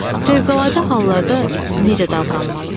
Fövqəladə hallarda necə davranmalı?